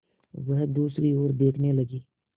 वह दूसरी ओर देखने लगी